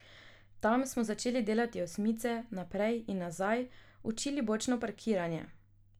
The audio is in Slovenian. Tam smo začeli delati osmice, naprej in nazaj, učili bočno parkiranje ...